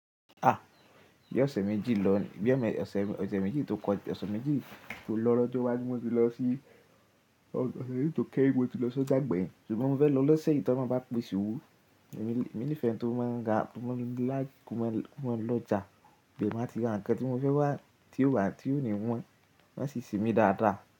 A! Bí ọ̀sẹ̀ méjì tó kọjá, ọ̀sẹ̀ méjì tó lọ lọ́jọ́ iwájú mo ti lọ sí, ọ̀sẹ̀ méjì tó kẹ́hìn mo ti lọ sójà ìgbàyìn. Ṣùgbọ́n mo fẹ́ lọ lọ́sẹ̀ yi tí olohun bá pèse owo èmi ní ìfẹ́ eni tó máa ń ra, mo ní lìke ko mọ́ lọ́jà, ibẹ́ ni máa ti rà ǹkan tí mo fẹ́ wá, tí ó wà tí ò ní wọ́n, wọ́n a sì semi dáadáa.